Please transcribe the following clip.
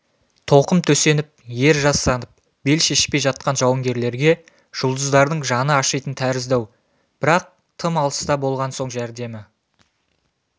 тоқым төсеніп ер жастанып бел шешпей жатқан жауынгерлерге жұлдыздардың жаны ашитын тәрізді-ау бірақ тым алыста болған соң жәрдемі